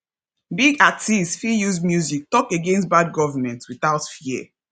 big artists fit use music talk against bad government without fear